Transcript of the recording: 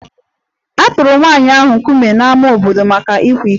A tụrụ nwanyị ahụ nkume n'ámá obodo maka ịkwa iko